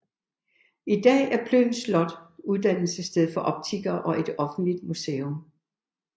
I dag er Plön Slot uddannelsessted for optikere og et offentligt museum